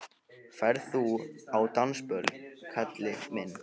Ferð þú á dansiböll, kalli minn?